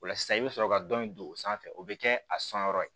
O la sisan i bɛ sɔrɔ ka dɔn in don o sanfɛ o bɛ kɛ a sɔnyɔrɔ ye